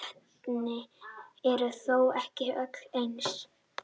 Kolvetni eru þó ekki öll eins.